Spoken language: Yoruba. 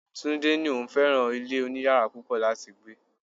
Túndé ní òun fẹ́ràn ilé oniyara púpọ̀ láti gbé.